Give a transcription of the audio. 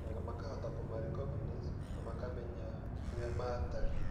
na makahota kũma recognize na makamenya ũrĩa matariĩ.